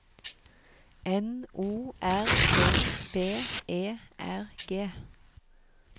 N O R D B E R G